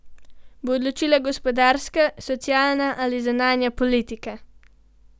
Bo odločilna gospodarska, socialna ali zunanja politika?